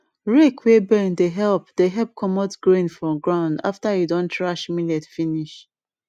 rake wey bend dey help dey help comot grain from ground after you don thresh millet finish